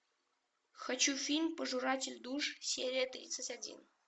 хочу фильм пожиратель душ серия тридцать один